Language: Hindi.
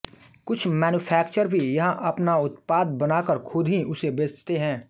कुछ मैन्युफैक्चर भी यहां अपना उत्पाद बना कर खुद ही उसे बेचते हैं